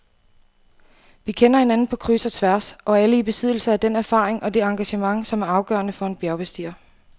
Vi kender hinanden på kryds og tværs og er alle i besiddelse af den erfaring og det engagement, som er afgørende for en bjergbestiger.